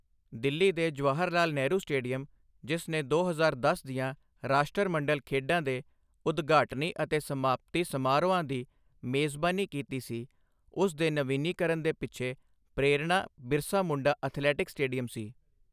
ਦਿੱਲੀ ਦੇ ਜਵਾਹਰ ਲਾਲ ਨਹਿਰੂ ਸਟੇਡੀਅਮ, ਜਿਸ ਨੇ ਦੋ ਹਜ਼ਾਰ ਦਸ ਦੀਆਂ ਰਾਸ਼ਟਰਮੰਡਲ ਖੇਡਾਂ ਦੇ ਉਦਘਾਟਨੀ ਅਤੇ ਸਮਾਪਤੀ ਸਮਾਰੋਹਾਂ ਦੀ ਮੇਜ਼ਬਾਨੀ ਕੀਤੀ ਸੀ ਉਸ ਦੇ ਨਵੀਨੀਕਰਨ ਦੇ ਪਿੱਛੇ ਪ੍ਰੇਰਣਾ ਬਿਰਸਾ ਮੁੰਡਾ ਅਥਲੈਟਿਕਸ ਸਟੇਡੀਅਮ ਸੀ I